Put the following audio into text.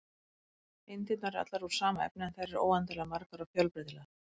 Eindirnar eru allar úr sama efni, en þær eru óendanlega margar og fjölbreytilegar.